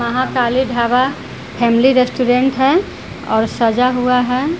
यहाँ Kali dhaba family restaurant है और सजा हुआ है।